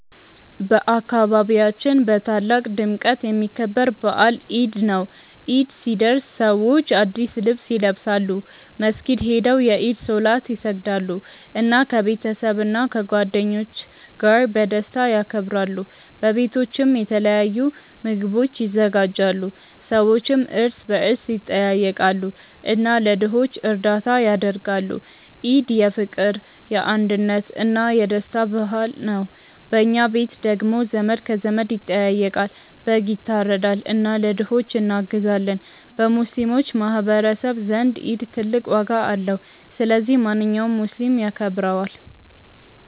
በአካባቢያችን በታላቅ ድምቀት የሚከበር በዓል ኢድ ነው። ኢድ ሲደርስ ሰዎች አዲስ ልብስ ይለብሳሉ፣ መስጊድ ሄደው የኢድ ሶላት ይሰግዳሉ፣ እና ከቤተሰብና ከጓደኞች ጋር በደስታ ያከብራሉ። በቤቶችም የተለያዩ ምግቦች ይዘጋጃሉ፣ ሰዎችም እርስ በርስ ይጠያየቃሉ እና ለድሆች እርዳታ ያደርጋሉ። ኢድ የፍቅር፣ የአንድነት እና የደስታ በዓል ነው። በኛ ቤት ደግሞ ዘመድ ከዘመድ ይጠያየቃል፣ በግ ይታረዳል እና ለድሆች እናግዛለን። በሙስሊሞች ማህቀረሰብ ዘንድ ኢድ ትልቅ ዋጋ አለው። ስለዚህ ማንኛውም ሙስሊም ያከብረዋል።